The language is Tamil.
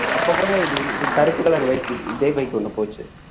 அப்ப கூட இது இது கருப்பு colour bike இதே bike ஒண்ணு போச்சு